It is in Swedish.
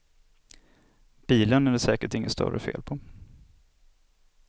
Bilen är det säkert inget större fel på.